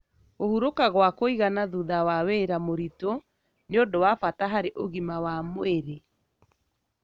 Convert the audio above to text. Kũhurũka gwa kũigana thutha wa wĩra mũritũ nĩ ũndũ wa bata harĩ ũgima wa mwĩrĩ.